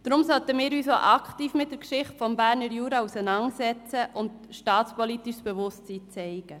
Deshalb sollten wir uns auch aktiv mit der Geschichte des Berner Juras auseinandersetzen und staatspolitisches Bewusstsein zeigen.